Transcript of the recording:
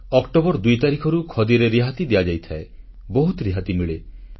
October 2 ତାରିଖରୁ ଖଦୀରେ ରିହାତି ଦିଆଯାଇଥାଏ ବହୁତ ରିହାତି ମିଳେ